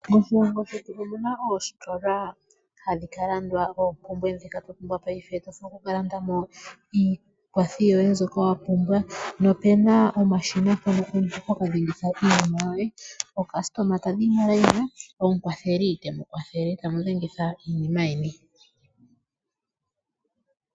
Moshilongo shetu omuna oositola hadhikalandwaa oompumbwe dhetu twa pumbwa paife tovulu oku kalandamo iikwathi yoye mbyoka wapumbwa nopuna omashina mpono omuntu hoka dhengitha iinima yoye .Aayakulwa taya yi momukweyo, omukwatheli teu kwathele tamu dhengitha iinima yeni.